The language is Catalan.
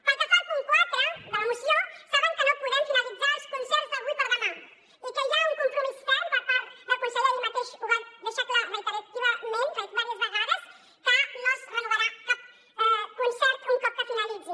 pel que fa al punt quatre de la moció saben que no podem finalitzar els concerts d’avui a demà i que hi ha un compromís ferm per part del conseller ahir mateix ho va deixar clar reiterativament diverses vegades que no es renovarà cap concert un cop finalitzi